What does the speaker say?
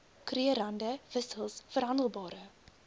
krugerrande wissels verhandelbare